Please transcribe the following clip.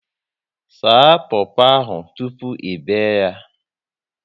Saa popo ahụ tụpụ ị be yaa